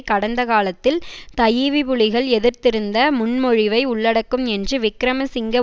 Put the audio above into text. கடந்த காலத்தில் தஈவிபுலிகள் எதிர்த்திருந்த முன்மொழிவை உள்ளடக்கும் என்று விக்கிரமசிங்க